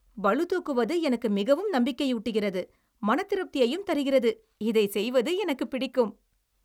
பளு தூக்குவது எனக்கு மிகவும் நம்பிக்கையூட்டுகிறது மனதிருப்தியையும் தருகிறது. இதை செய்வது எனக்கு பிடிக்கும்.